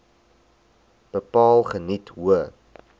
bepaal geniet hoë